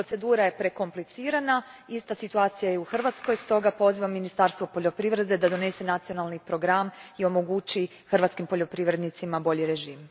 Procedura je prekomplicirana, ista situacija je u Hrvatskoj, stoga pozivam Ministarstvo poljoprivrede da donese nacionalni program i omogući hrvatskim poljoprivrednicima bolji režim.